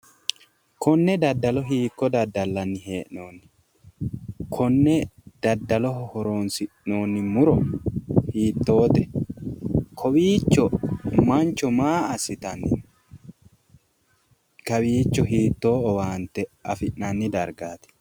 konne daddalo hiikko daddallanni hee'noonni? konne daddaloho horonsinoonni muro hiittoote? kowiicho mancho maa assitanni no? kawiicho hiittoo owaante afi'nanni dargaati?